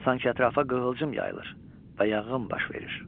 Sanki ətrafa qığılcım yayılır və yanğın baş verir.